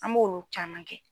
An m'olu caman kɛ.